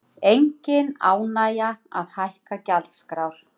Engin ánægja að hækka gjaldskrár